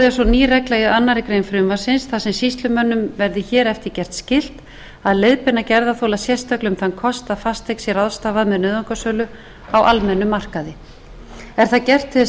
úrræði er svo ný regla í annarri grein frumvarpsins þar sem sýslumönnum verði hér eftir gert skylt að leiðbeina gerðarþola sérstaklega um þann kost að fasteign sé ráðstafað með nauðungarsölu á almennum markaði er það gert til þess